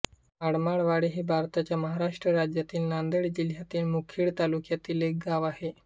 आडमाळवाडी हे भारताच्या महाराष्ट्र राज्यातील नांदेड जिल्ह्यातील मुखेड तालुक्यातील एक गाव आहे